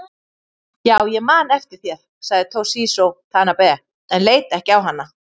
Já ég man eftir þér, sagði Toshizo Tanabe en leit ekki á hana.